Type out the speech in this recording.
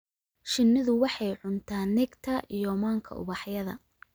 Shinnidu waxay cuntaa nectar iyo manka ubaxyada.